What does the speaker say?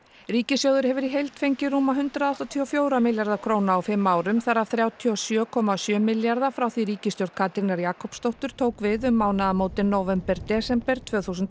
ríkissjóður hefur í heild fengið rúma hundrað áttatíu og fjögurra milljarða króna á fimm árum þar af þrjátíu og sjö komma sjö milljarða frá því ríkisstjórn Katrínar Jakobsdóttur tók við um mánaðamótin nóvember desember tvö þúsund